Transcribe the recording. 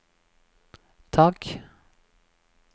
tak